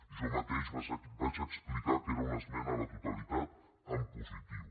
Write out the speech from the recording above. jo mateix vaig explicar que era una esmena a la totalitat en positiu